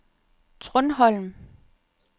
Trundholm